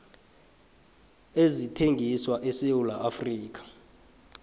ezithengiswa esewula afrika